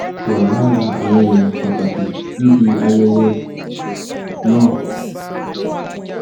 wà lára àwọn èèyàn pàtàkì níbi ayẹyẹ um náà